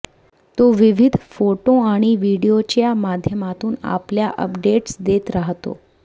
तो विविध फोटो आणि व्हीडिओजच्या माध्यमातून आपल्या अपडेट्स देत राहतो